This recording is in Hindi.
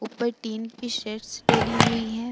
ऊपर टीन की शेड्स डाली हुई है।